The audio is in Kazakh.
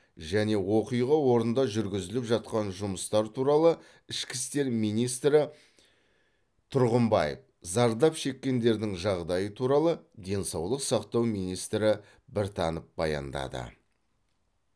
және оқиға орнында жүргізіліп жатқан жұмыстар туралы ішкі істер министрі тұрғымбаев зардап шеккендердің жағдайы туралы денсаулық сақтау министрі біртанов баяндады